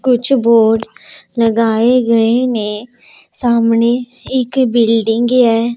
कुछ बोर्ड लगाएं गए ने सामने एक बिल्डिंग है।